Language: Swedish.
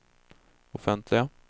offentliga